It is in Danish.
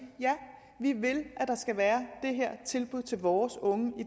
ja vi vil have at der skal være det her tilbud til vores unge